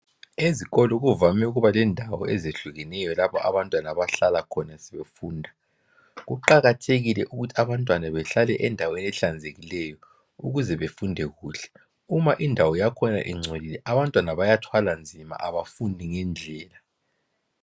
Ezikolo kuvame ukubalendawo ezihlukeneyo lapho abantwana abahlala khona sebefunda. Kuqakathekile ukuthi abantwana behlale endaweni ehlanzekileyo ukuze befunde kuhle. Uma indawo yakhona ingcolile abantwana bayathwalanzima abafundi ngendlela.